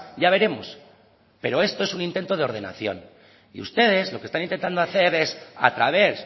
ya veremos pero esto es un intento de ordenación y ustedes lo que están intentando hacer es a través